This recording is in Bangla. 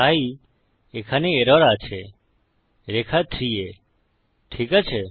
তাই এখানে এরর আছে রেখা 3 এ ঠিক আছে